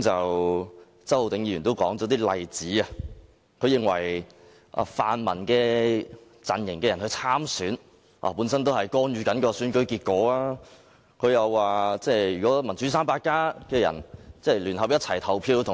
周浩鼎議員剛才提出一些例子，他認為泛民陣營人士參選是干預選舉結果；如果"民主 300+" 成員同一意向，聯合投票給